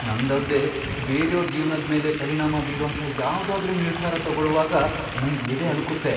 ನಂದಲ್ದೇ ಬೇರ್ಯೋರ್ ಜೀವ್ನದ್ಮೇಲೆ ಪರಿಣಾಮ ಬೀರೋಂಥ ಯಾವ್ದಾದ್ರೂ ನಿರ್ಧಾರ ತಗೊಳುವಾಗ ನಂಗ್ ಎದೆ ಅಳುಕತ್ತೆ.